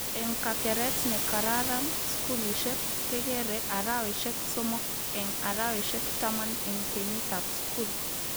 Eng kakeret nekararan-skulishek kekere araweshek somok eng araweshek taman eng kenyitab skul